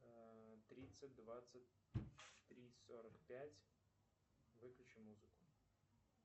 тридцать двадцать три сорок пять выключи музыку